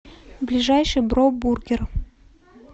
ближайший бро бургер